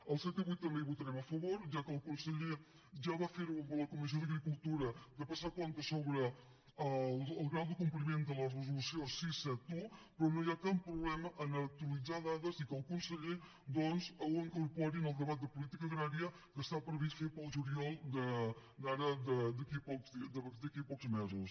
al set i vuit també hi votarem a favor ja que el conseller ja va fer ho amb la comissió d’agricultura de passar comptes sobre el grau de compliment de la resolució sis cents i setanta un però no hi ha cap problema a actualitzar dades i que el conseller ho incorpori en el debat de política agrària que està previst fer el juliol d’aquí a pocs mesos